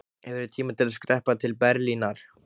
Hefurðu tíma til að skreppa til Berlínar?